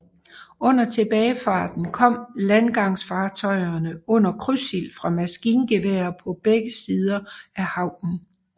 Under tilbagefarten kom landgangsfartøjerne under krydsild fra maskingeværer på begge sider af havnen